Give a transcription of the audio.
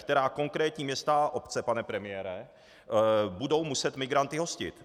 Která konkrétní města a obce, pane premiére, budou muset migranty hostit?